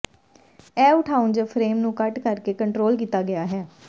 ਇਹ ਉਠਾਉਣ ਜ ਫਰੇਮ ਨੂੰ ਘੱਟ ਕਰਕੇ ਕੰਟਰੋਲ ਕੀਤਾ ਗਿਆ ਹੈ